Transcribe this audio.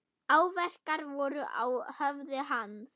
Áverkar voru á höfði hans.